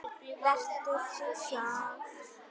Vertu þú sjálf.